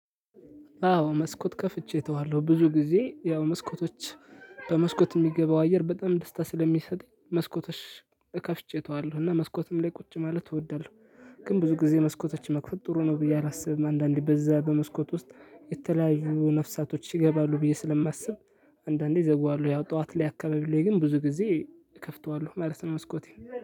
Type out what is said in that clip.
አዎ መስኮት ከፍቼ እተዋለሁ ብዙ ጊዜ ያው መስኮቶች በመስኮት የሚገባው አየር በጣም ደስታ ስለሚሰጥ መስኮትሽ እከፍቼ እተዋለሁ እና መስኮትም ላይ ቁጭ ማለት እወዳለሁ። ግን ብዙ ጊዜ መስኮቶች መክፈት ጥሩ ነው ብዬ አላስብም አንዳንዴ በዛ በመስኮት ውስጥ የተለያዩ ነፍሳቶች ይገባሉ ብዬ ስለማስብ። አንዳንዴ ዘግዋለሁ ያው ጠዋት ላይ አካባቢ ላይ ግን ብዙ ጊዜ እከፍተዋለሁ ማለት ነው። መስኮቴን